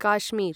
Kashmir